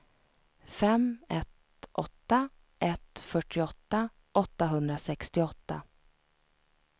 fem ett åtta ett fyrtioåtta åttahundrasextioåtta